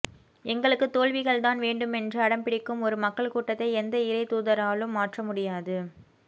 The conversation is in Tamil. எங்களுக்கு தோல்விகள்தான் வேண்டுமென்று அடம்பிடிக்கும் ஒரு மக்கள் கூட்டத்தை எந்த இறை தூதராலும் மாற்ற முடியாது